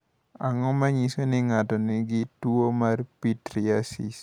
Ang’o ma nyiso ni ng’ato nigi tuwo mar Pityriasis?